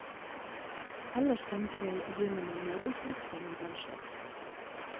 Ellers tenker jeg å begynne med møbelsnekring og den slags.